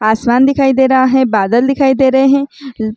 आसमान दिखाई दे रहा है बादल दिखाई दे रहे है उ--